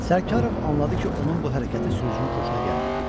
Sərkarov anladı ki, onun bu hərəkəti sürücünün xoşuna gəlməyib.